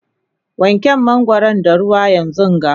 wanke mangwaron da ruwa yanzunga!